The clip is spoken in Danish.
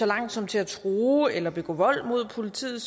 langt som til at true eller begå vold mod politiet